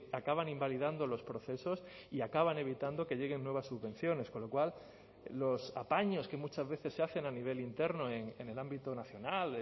acaban invalidando los procesos y acaban evitando que lleguen nuevas subvenciones con lo cual los apaños que muchas veces se hacen a nivel interno en el ámbito nacional